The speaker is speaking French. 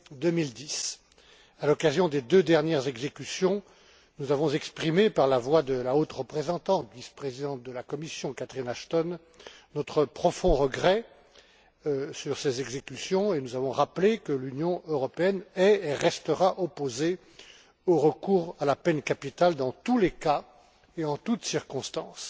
2010. À l'occasion des deux dernières exécutions, nous avons exprimé, par la voix de la haute représentante vice présidente de la Commission, Catherine Ashton, notre profond regret de ces exécutions et avons rappelé que l'Union européenne est, et restera, opposée au recours à la peine capitale dans tous les cas et en toutes circonstances.